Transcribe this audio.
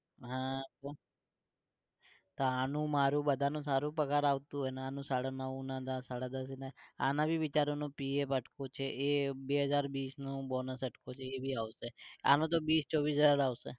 હા તો, આનું મારું અમારા બધા નું સારું પગાર આવતું અને સાડા નવ ને દસ સાડા દસ ને આને ભી બિચારા નો pf અટક્યું છે એ બે હજાર બીસ નું bonus અટક્યું છે એ ભી આવશે. આનો તો બીસ ચોવીસ હજાર આવશે